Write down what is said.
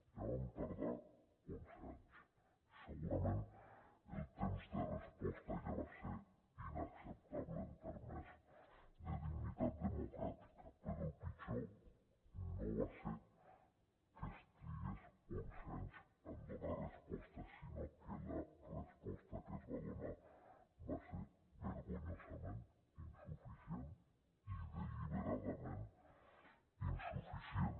ja vam tardar onze anys i segurament el temps de resposta ja va ser inacceptable en termes de dignitat democràtica però el pitjor no va ser que es trigués onze anys en donar resposta sinó que la resposta que es va donar va ser vergonyosament insuficient i deliberadament insuficient